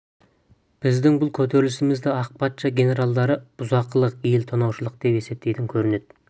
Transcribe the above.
біздің бұл көтерілісімізді ақ патша генералдары бұзақылық ел тонаушылық деп есептейтін көрінеді